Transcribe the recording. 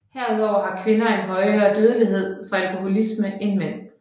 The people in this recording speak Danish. Herudover har kvinder en højere dødelighed fra alkoholisme end mænd